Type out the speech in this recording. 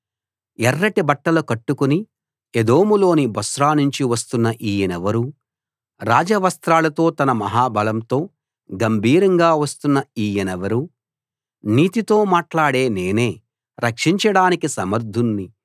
ఎర్రటి బట్టలు కట్టుకుని ఎదోములోని బొస్రా నుంచి వస్తున్న ఈయనెవరు రాజ వస్త్రాలతో తన మహా బలంతో గంభీరంగా వస్తున్న ఈయనెవరు నీతితో మాట్లాడే నేనే రక్షించడానికి సమర్ధుణ్ణి